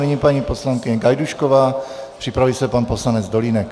Nyní paní poslankyně Gajdůšková, připraví se pan poslanec Dolínek.